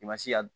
I ma se ka